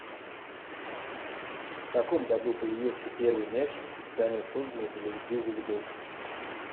в каком году появился первый мяч специально созданный для игры в волейбол